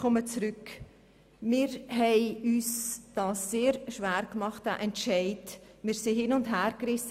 Wir haben uns den Entscheid sehr schwer gemacht und waren hin- und hergerissen.